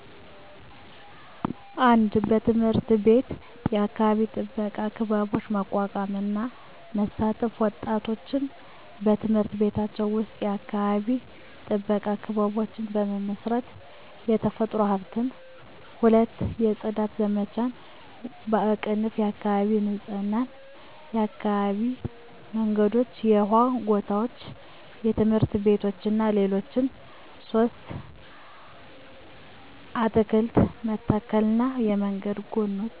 1. በትምህርት ቤት የአካባቢ ጥበቃ ክበቦች ማቋቋም እና መሳተፍ ወጣቶች በትምህርት ቤቶቻቸው ውስጥ የአካባቢ ጥበቃ ክበቦችን በመመስረት፣ የተፈጥሮ ሀብትን። 2. የጽዳት ዘመቻዎች (የአካባቢ ንፁህነት) የአካባቢ መንገዶች፣ የውሃ ጎታዎች፣ ትምህርት ቤቶች እና ሌሎች 3. አትክልት መተከልና የመንገድ ጎኖች